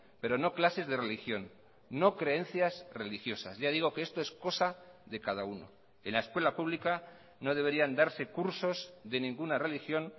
pero no clases de religión no creencias religiosas ya digo que esto es cosa de cada uno en la escuela pública no deberían darse cursos de ninguna religión